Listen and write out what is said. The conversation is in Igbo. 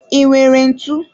I nwere ntụ?